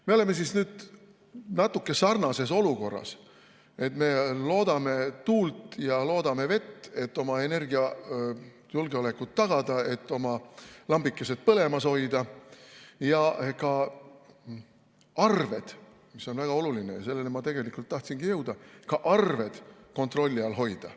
Me oleme natuke sarnases olukorras, et me loodame tuult ja loodame vett, et oma energiajulgeolekut tagada, et oma lambikesed põlemas hoida ja arved – mis on väga oluline ja selleni ma tahtsingi jõuda – kontrolli all hoida.